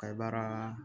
Ka baara